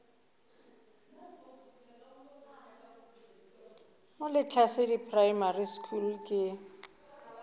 mo lehlasedi primary school ke